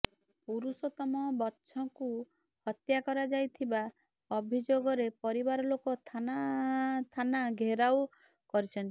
ପୁରୁଷୋତ୍ତମ ବଛଙ୍କୁ ହତ୍ୟା କରାଯାଇଥିବା ଅଭିଯୋଗରେ ପରିବାରଲୋକ ଥାନା ଥାନା ଘେରାଓ କରିଛନ୍ତି